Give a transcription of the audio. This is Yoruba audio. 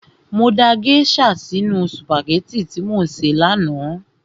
Mo da gèésà sínu sùpàgẹ́tì tí mo sè ní àná